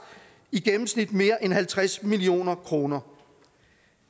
i gennemsnit mere end halvtreds million kroner